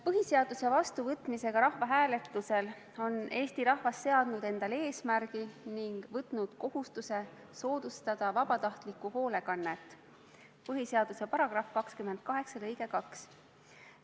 Põhiseaduse vastuvõtmisega rahvahääletusel on Eesti rahvas seadnud endale eesmärgi ning võtnud kohustuse soodustada vabatahtlikku hoolekannet – põhiseaduse § 28 lõige 3.